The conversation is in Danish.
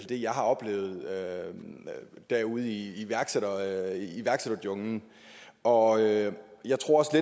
det jeg har oplevet derude i iværksætterjunglen og jeg tror